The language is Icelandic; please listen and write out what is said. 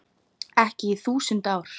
Ekki í þúsund ár.